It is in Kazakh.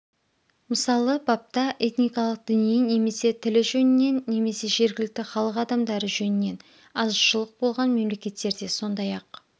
мысалы бапта этникалық діни немесе тілі жөнінен немесе жергілікті халық адамдары жөнінен азшылық болған мемлекеттерде сондайақ